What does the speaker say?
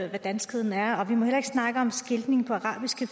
hvad danskheden er og vi må heller ikke snakke om skiltning på arabisk